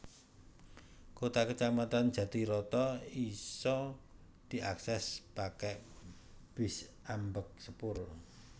Kota kacamatan Jatiroto isa diakses pake bis ambèk sepur